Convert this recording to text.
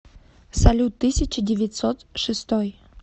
салют тысяча девятьсот шестой